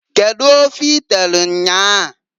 Kedu ofe i telu nnyaa?